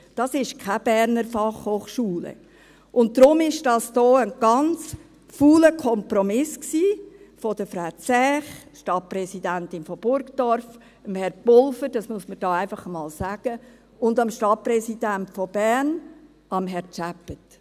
Deshalb – das muss man hier einfach einmal sagen – war das ein ganz fauler Kompromiss von Frau Zäch, Stadtpräsidentin von Burgdorf, Herrn Pulver, und dem Stadtpräsidenten von Bern, Herrn Tschäppät.